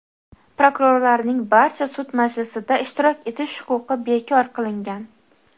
Prokurorlarning barcha sud majlisida ishtirok etish huquqi bekor qilingan.